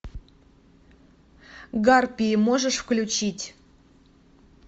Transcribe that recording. гарпии можешь включить